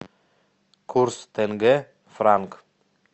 курс тенге франк